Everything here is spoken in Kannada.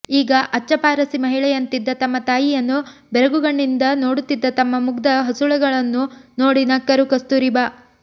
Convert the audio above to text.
ಈಗ ಅಚ್ಚ ಪಾರಸಿ ಮಹಿಳೆಯಂತಿದ್ದ ತಮ್ಮ ತಾಯಿಯನ್ನು ಬೆರಗುಗಣ್ಣಗಳಿಂದ ನೋಡುತ್ತಿದ್ದ ತಮ್ಮ ಮುಗ್ಧ ಹಸುಳೆಗಳನ್ನು ನೋಡಿ ನಕ್ಕರು ಕಸ್ತೂರಿಬಾ